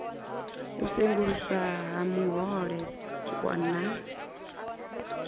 u senguluswa ha vhuhole na